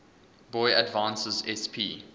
boy advance sp